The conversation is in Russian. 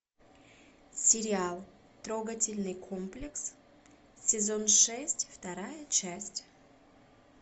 сериал трогательный комплекс сезон шесть вторая часть